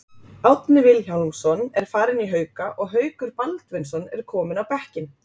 Árni Vilhjálmsson er farinn í Hauka og Haukur Baldvinsson er kominn á bekkinn.